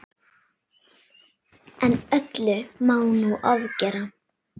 En öllu má nú ofgera.